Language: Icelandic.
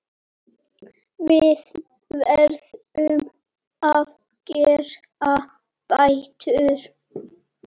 Við verðum að gera betur.